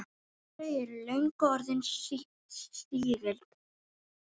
Þau eru löngu orðin sígild.